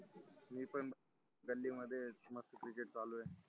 मी पण गल्ली मध्येच मस्त cricket चालु आहे